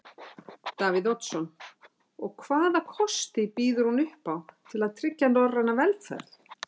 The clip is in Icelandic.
Davíð Oddsson: Og hvaða kosti býður hún upp á til að tryggja norræna velferð?